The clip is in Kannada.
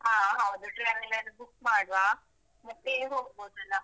ಹ ಹೌದು traveler book ಮಾಡುವ ಮತ್ತೇ ಹೋಗ್ಬೋದಲ್ಲಾ.